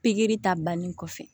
Pikiri ta bannen kɔfɛ